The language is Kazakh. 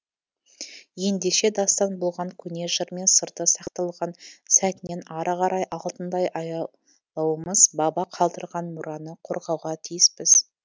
ендеше дастан болған көне жыр мен сырды сақталған сәтінен ары қарай алтындай аялу уымыз баба қалдырған мұраны қорғауға тиіспіз